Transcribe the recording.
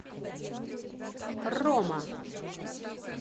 рома